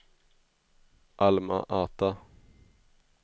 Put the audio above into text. Alma-Ata